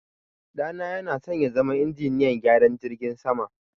ɗana yanasan yazama injiniyan gyaran jirgin sama